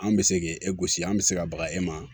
An bɛ se k'e gosi an bɛ se ka baga e ma